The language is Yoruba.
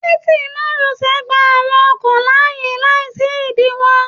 Títí márosẹ̀ gbà àwọn ọkọ̀ láàyè láì sí idiwọ.